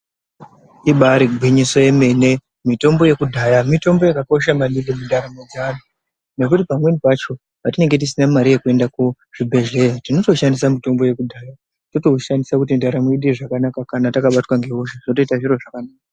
Mitombo yekudhaya mitombo yakakosha manhingi nekuti pamweni pacho patinenge tisina mari yekuenda kuzvibhedhlera tinotoshandisa mitombo yekudhaya totoushandisa zvakanaka kana takabatwa ngehosha zvotoita zviro zvakanaka.